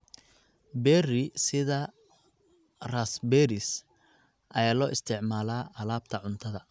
Berry sida raspberries ayaa loo isticmaalaa alaabta cuntada.